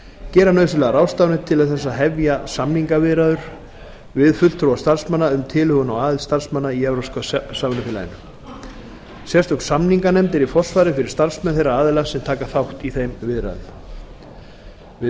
gera nauðsynlegar ráðstafanir til þess að hefja samningaviðræður við fulltrúa starfsmanna um tilhögun á aðild starfsmanna í evrópska samvinnufélaginu sérstök samninganefnd er í forsvari fyrir starfsmenn þeirra aðila sem taka þátt í þeim viðræðum við